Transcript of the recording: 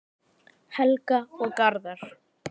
Helga og Garðar.